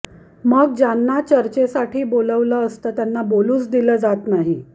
मग ज्यांना चर्चेसाठी बोलावलेलं असतं त्यांना बोलूच दिलं जात नाही